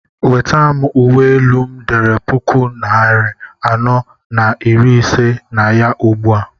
nweta m uwe elu m dere puku nari anọ na iri ise na ya ugbu a!